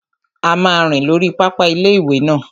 A máa rìn lórí pápá ilé-ìwé náà